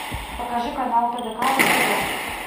покажи канал тдк на тв